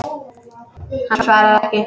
Hann svarar ekki.